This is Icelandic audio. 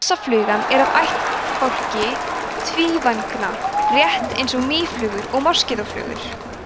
hrossaflugan er af ættbálki tvívængna rétt eins og mýflugur og moskítóflugur